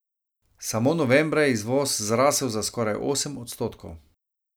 Samo novembra je izvoz zrasel za skoraj osem odstotkov.